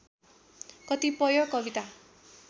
कतिपय कविता